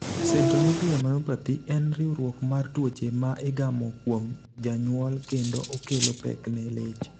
Centronuclear myopathy en riwruok mar tuoche ma igamo kuom janyuol kendo okelo pek ne leche.